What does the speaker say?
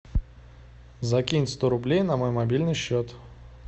закинь сто рублей на мой мобильный счет